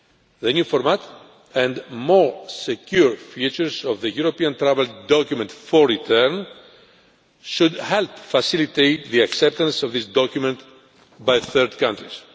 The new format and more secure features of the European travel document for return should help facilitate the acceptance of this document by third countries.